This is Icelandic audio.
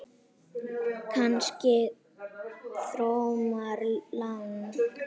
Kannski Thomas Lang?